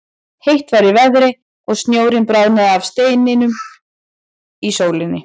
Heitt var í veðri og snjórinn bráðnaði af steinum í sólinni.